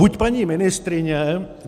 Buď paní ministryně